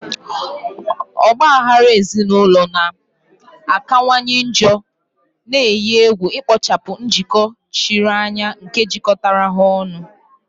Ọgba aghara ezinụlọ na-akawanye njọ, na-eyi egwu ikpochapụ njikọ chiri anya nke jikọtara ha ọnụ.